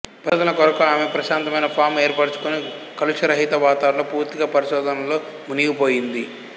పరిశోధనల కొరకు ఆమె ప్రశాంతమైన ఫాం ఏర్పరచుకుని కలుషరహిత వాతావరణంలో పూర్తిగా పరిశోధనలలో మునిగిపోయింది